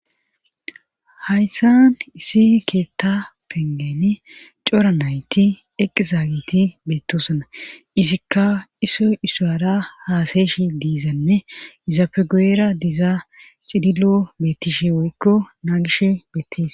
haysan isi keetta pengeni cora nayti eqqi zaagiti beettosana izikka isoy isoyara haasayesh diizanne izapegoera dizaa xidilo bettishe woykko naa gish bettish